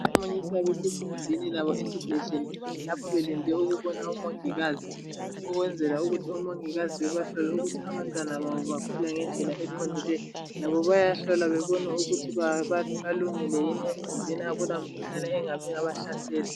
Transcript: omama abamunyisa bese sigumbini labo esibhedlela lapha belinde ukubona omongikazi ukwenzela ukuthi omongikazi bebahlole ukuthi abantwana babo bakhula ngendlela eqondileyo labo beyahlole ukuthi balungile yini emzimbeni akula mkhuhlane engabahlasela